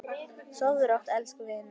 Sofðu rótt, elsku vinur.